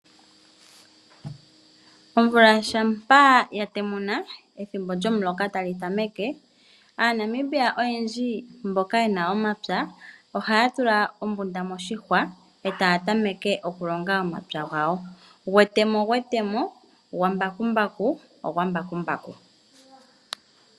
Omvula uuna ya temuna, ethimbo lyomuloka e tali tameke aanamibia oyendji mboka ye na omapya ohaya tula ombunda moshihwa e taya tameke okulonga omapya gawo gwetemo ogwetemo, gwambakumbaku ogwambakumbaku.